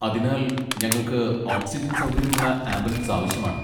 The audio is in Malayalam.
അതിനാൽ, ഞങ്ങൾക്ക് ഓക്സിജൻ സൗകര്യമുള്ള ആംബുലൻസ് ആവശ്യമാണ്.